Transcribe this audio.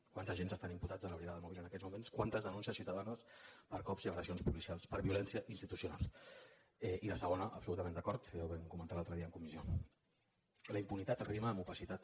quants agents estan imputats de la brigada mòbil en aquests moments quantes denúncies ciutadanes per cops i agressions policials per violència institucional i la segona absolutament d’acord ja ho vam comentar l’altre dia en comissió la impunitat rima amb opacitat